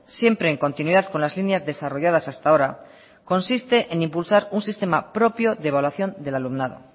siempre en continuidad con las líneas desarrolladas hasta ahora consiste en impulsar un sistema propio de evaluación del alumnado